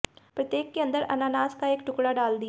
प्रत्येक के अंदर अनानास का एक टुकड़ा डाल दिया